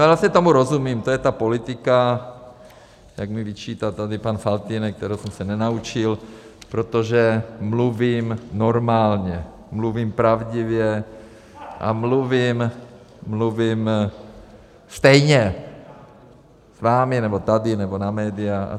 A vlastně tomu rozumím, to je ta politika, jak mi vyčítá tady pan Faltýnek, kterou jsem se nenaučil, protože mluvím normálně, mluvím pravdivě a mluvím stejně s vámi, nebo tady, nebo na média atd.